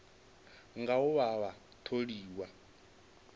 nga u vha vha tholiwa